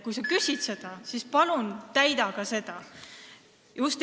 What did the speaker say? Kui sa midagi nõuad, siis palun täida ka ise seda nõuet.